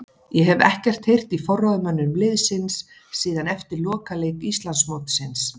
Ég hef ekkert heyrt í forráðamönnum liðsins síðan eftir lokaleik Íslandsmótsins.